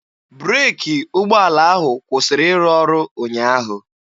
Breeki ụgbọala ahụ kwụsịrị ịrụ ọrụ ụnyaahụ.